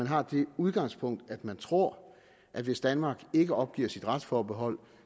har det udgangspunkt at man tror at hvis danmark ikke opgiver sit retsforbehold